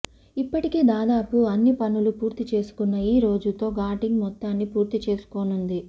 ఇప్పటికే దాదాపు అన్ని పనులు పూర్తిచేసుకున్న ఈ రోజుతో షూటింగ్ మొత్తాన్ని పూర్తి చేసుకోనుంది